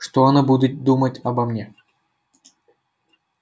что она будет думать обо мне